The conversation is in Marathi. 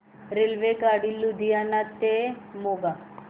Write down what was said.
रेल्वेगाडी लुधियाना ते मोगा